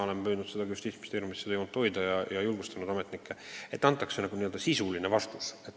Olen püüdnud Justiitsministeeriumis seda joont hoida ja julgustanud ametnikke seda tegema.